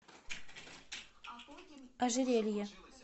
ожерелье